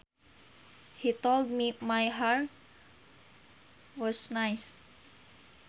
He told me my hair was nice